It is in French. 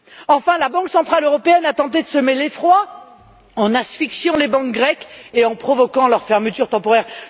Enfin, la Banque centrale européenne a tenté de semer l'effroi en asphyxiant les banques grecques et en provoquant leur fermeture temporaire.